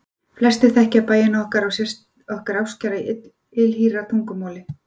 Flestir þekkja bænina á okkar ástkæra ylhýra tungumáli: